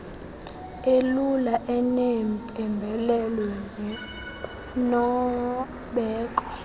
elula enempembelelo nenobeko